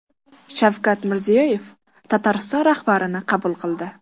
Shavkat Mirziyoyev Tatariston rahbarini qabul qildi.